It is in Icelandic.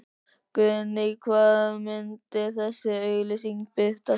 Guðný: Hvar munu þessar auglýsingar birtast?